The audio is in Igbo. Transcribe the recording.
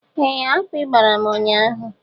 Ee akpị gbàrà m ụnyaahụ.